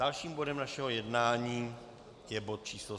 Dalším bodem našeho jednání je bod číslo